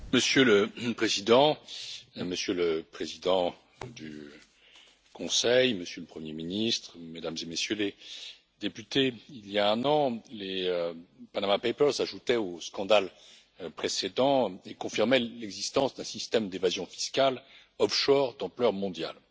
Monsieur le Président, Madame la Présidente du Conseil, Monsieur le Premier Ministre, Mesdames et Messieurs les députés, il y a un an, les Panama Papers s'ajoutaient aux scandales précédents et confirmaient l'existence d'un système d'évasion fiscale offshore d'ampleur mondiale.